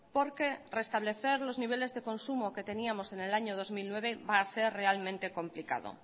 porque restablecer los niveles de consumo que teníamos en el año dos mil nueve va a ser realmente complicado